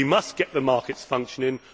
We must get the markets functioning.